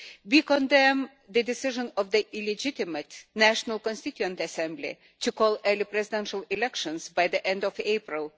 We condemn the decision of the illegitimate National Constituent Assembly to call early presidential elections by the end of April